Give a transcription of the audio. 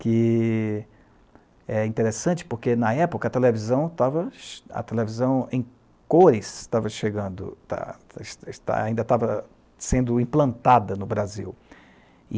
que é interessante porque, na época, a televisão tava, a televisão em cores estava chegando, ta... ainda estava sendo implantada no Brasil.